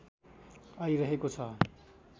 आइरहेको छ